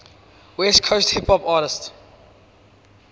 west coast hip hop artists